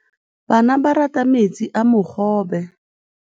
Bana ba rata metsi a mogobe.